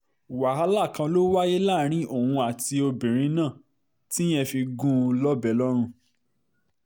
wàhálà kan ló wáyé láàrin òun àti obìnrin náà tíyẹn fi gún un lọ́bẹ̀ lọ́run